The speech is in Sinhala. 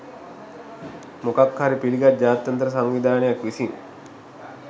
මොකක් හරි පිළිගත් ජාත්‍යන්තර සංවිධානයක් විසින්